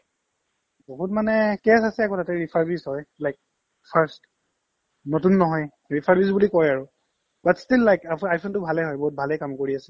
বহুত মানে কেচ আছে আকৌ তাতে refurbish হয় like searched নতুন নহয় refurbish কই আৰু but still like আকৌ iphone ভালেই হয় ভালে কাম কৰি আছে